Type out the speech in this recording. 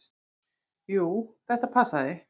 Jú, þetta passaði.